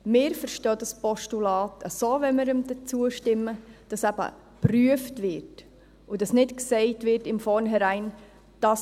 Wir verstehen das Postulat so, dass wenn wir ihm dann zustimmen, eben geprüft wird und dass nicht von vornherein gesagt wird: